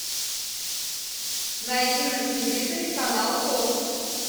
найди на телевизоре канал фокс